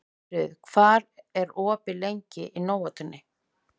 Aðalfríður, hvað er opið lengi í Nóatúni?